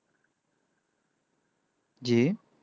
জি